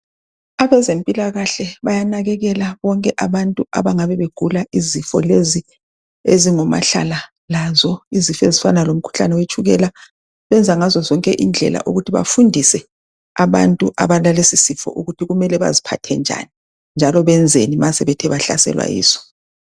Abezempilakahle bayanakekela bonke abantu abangabe begula izifo lezi ezingomahlala lazo izifo ezifana lomkhuhlane wetshukela benza ngazo zonke indlela ukuthi bafundise abantu abalalesisifo ukuthi kumele baziphathe njani njalo benzeni ma sebethe bahlaselwa yiso.